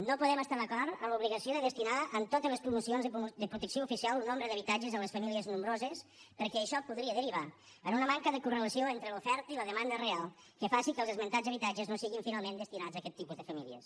no podem estar d’acord amb l’obligació de destinar en totes les promocions de protecció oficial un nombre d’habitatges a les famílies nombroses perquè això podria derivar en una manca de correlació entre l’oferta i la demanda real que faci que els esmentats habitatges no siguin finalment destinats a aquests tipus de famílies